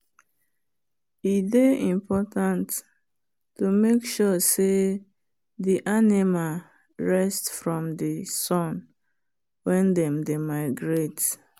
e dey important to make sure say the animal rest from sun when them dey migrate.